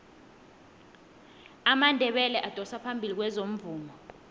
amandebele adosa phambili kwezomvumo